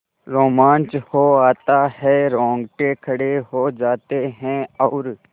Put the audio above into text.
रोमांच हो आता है रोंगटे खड़े हो जाते हैं और